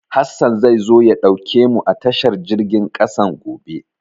Hassan zai zo ya ɗauke mu a tashar jirgin ƙasan gobe.